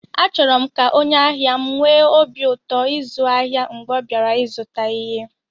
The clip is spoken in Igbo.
Achọrọ m ka onye ahịa m nwee obi ụtọ ịzụ ahịa mgbe ọ bịara ịzụta ihe